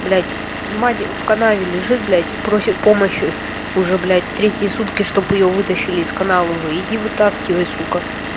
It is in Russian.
блядь мать в канаве лежит блядь просит помощи уже блядь третьи сутки чтобы её вытащили из канавы иди вытаскивай сука